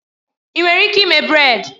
Ị nwere ike ime brèd?